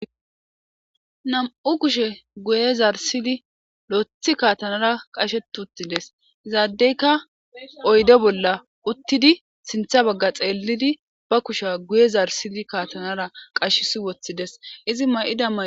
Nam'u kushe guye zarisidi loyitti kaatanara qashet utti des. Iza dayika oydde bolla uttidi sintha bagga xeelidi ba kusha guye zarsidi kaatanara qashisi woththi dees. Izi mayida mayo.